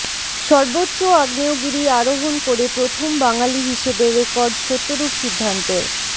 সর্বোচ্চ আগ্নেয়গিরি আরোহণ করে প্রথম বাঙালি হিসেবে রেকর্ড সত্যরূপ সিদ্ধান্তের